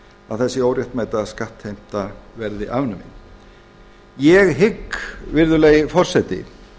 að þessi óréttmæta skattheimta verði afnumin ég hygg virðulegi forseti